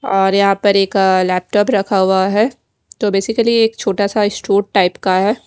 और यहाँ पर एक लेपटोप रखा हुआ है तो बेसिकली एक छोटा सा स्टुट टाइप का है।